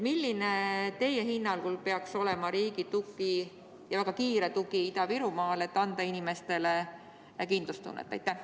Milline peaks teie hinnangul olema riigi tugi ja väga kiire tugi Ida-Virumaale, et anda inimestele kindlustunnet?